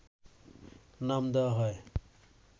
নাম দেওয়া হয়